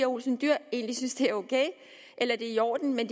olsen dyhr egentlig synes at det er ok eller at det er i orden men